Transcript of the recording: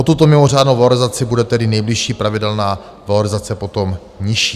O tuto mimořádnou valorizaci bude tedy nejbližší pravidelná valorizace potom nižší.